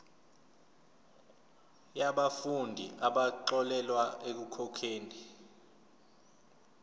yabafundi abaxolelwa ekukhokheni